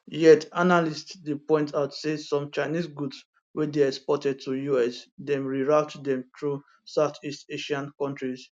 yet analysts dey point out say some chinese goods wey dey exported to us dem reroute dem through southeast asian kontris